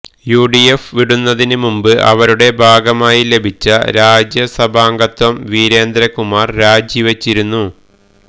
UDF വിടുന്നതിന് മുമ്പ് അവരുടെ ഭാഗമായി ലഭിച്ച രാജ്യസഭാംഗത്വം വീരേന്ദ്രകുമാര് രാജി വച്ചിരുന്നു